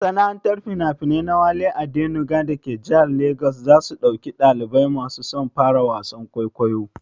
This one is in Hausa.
Masana'antar finafinai na Wale Adenuga dake jihar Legas za su ɗauki ɗalibai masu son fara wasan kwaikwayo.